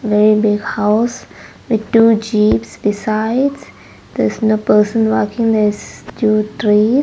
very big house with two jeeps besides there's a person walking there's few trees.